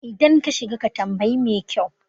idan ka shiga ka tambayi mekyau